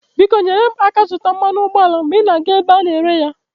Biko nyere m aka ịzụta mmanụ ụgbọala mgbe ị na-aga ebe a na-ere ya.